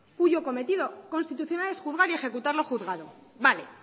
cuyo cometido constitucional es juzgar y ejecutar lo juzgado vale